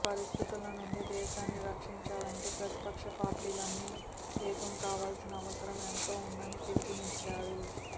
ఈ పరిస్థితుల నుంచి దేశాన్ని రక్షించాలంటే ప్రతిపక్ష పార్టీలన్నీ ఏకం కావాల్సిన అవసరం ఎంతో ఉందని పిలుపునిచ్చారు